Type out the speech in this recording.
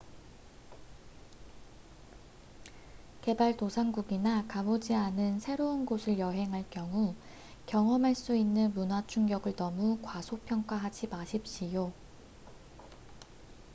개발 도상국이나 가보지 않은 새로운 곳을 여행할 경우 경험할 수 있는 문화 충격을 너무 과소평가하지 마십시오